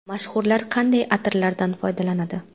Mashhurlar qanday atirlardan foydalanadi?.